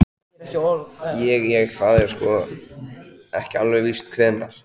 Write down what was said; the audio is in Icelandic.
Ég. ég. það er sko. ekki alveg víst hvenær.